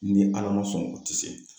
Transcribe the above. Ni Ala ma sɔn o ti se.